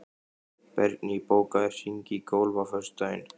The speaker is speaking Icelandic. Bergný, bókaðu hring í golf á föstudaginn.